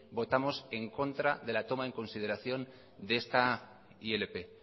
votamos en contra de la toma en consideración de esta ilp